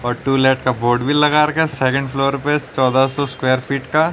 पर टुलेट का बोर्ड भी लगा रखा सेकंड फ्लोर पे चौदह सौ स्क्वायर फ़ीट का।